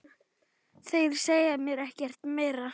Þeir segja mér ekkert meira.